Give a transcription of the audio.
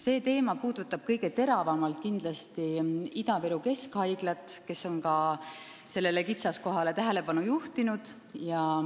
See teema puudutab kõige teravamalt kindlasti Ida-Viru Keskhaiglat, kes on ka sellele kitsaskohale tähelepanu juhtinud.